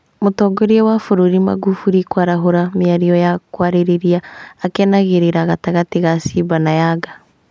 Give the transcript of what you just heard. Mũtongoria wa bũrũri Magufuli kwarahũra mĩario ya kwarĩrĩria akenagĩrĩra gatagatĩ ga Simba na Yanga